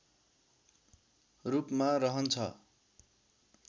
रूपमा रहन्छ